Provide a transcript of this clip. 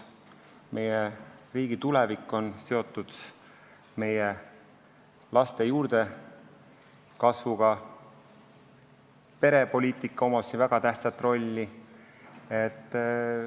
Meie riigi tulevik on seotud meie laste juurdekasvuga ja perepoliitikal on siin väga tähtis roll.